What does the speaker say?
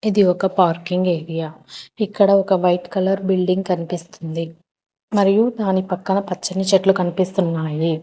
ఇది ఒక parking area ఇక్కడ ఒక వైట్ కలర్ బిల్డింగ్ కనిపిస్తుంది మరియు దాని పక్కన పచ్చని చెట్లు కనిపిస్తున్నాయి.